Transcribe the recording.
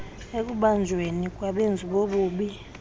ekubanjweni kwabenzi bobubi